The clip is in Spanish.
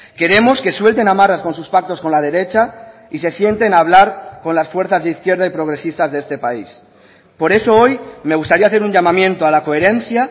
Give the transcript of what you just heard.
queremos que suelten amarras con sus pactos con la derecha y se sienten a hablar con las fuerzas de izquierda y progresistas de este país por eso hoy me gustaría hacer un llamamiento a la coherencia